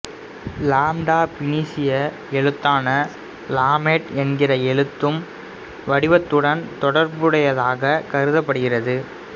lambda பினீசிய எழுத்தான லாமேட் என்கிற எழுத்து வடிவத்துடன் தொடர்புடையதாக கருதபடுகிறது